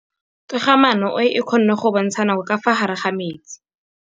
Toga-maanô e, e kgona go bontsha nakô ka fa gare ga metsi.